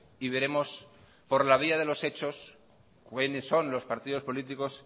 y veremos por la vía de los hechos quiénes son los partidos políticos